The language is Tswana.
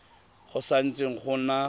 go sa ntse go na